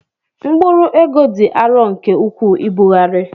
Mkpụrụ ego dị arọ nke ukwuu ibugharị.